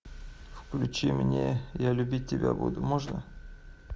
включи мне я любить тебя буду можно